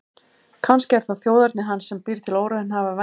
Kannski er það þjóðerni hans sem býr til óraunhæfar væntingar.